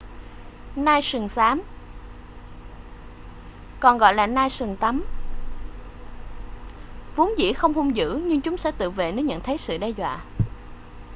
nai sừng xám còn gọi là nai sừng tấm vốn dĩ không hung dữ nhưng chúng sẽ tự vệ nếu nhận thấy sự đe dọa